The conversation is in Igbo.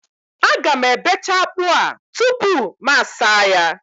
Aga m ebecha akpụ a tupu m asaa ya